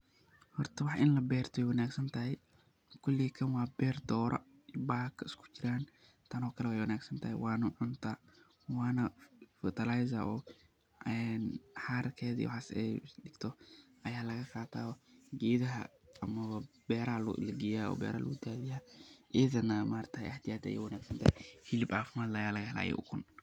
Horta wax ini laberto wey wanag santahy koley tano kale waa ber doraa oo xarkeda iyo waxas ayey laqataa oo gedahaa iyo beraha aya legeysta , idana aad iyo aad ayey u wanagsantahay oo ukun iyo xilib cafimad leh ayaa laga hela.